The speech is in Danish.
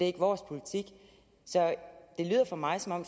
ikke vores politik så det lyder for mig som om